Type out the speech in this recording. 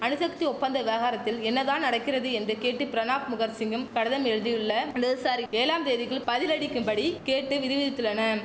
அணுசக்தி ஒப்பந்த விவகாரத்தில் என்னதான் நடக்கிறது என்று கேட்டு பிரணாப் முகர்சிங்கும் கடிதம் எழுதியுள்ள இடதுசாரி ஏழாம் தேதிக்குள் பதிலளிக்கும்படி கேட்டு விதி விதித்துள்ளனம்